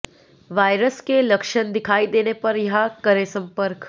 virus के लक्षण दिखाई देने पर यहां करें संपर्क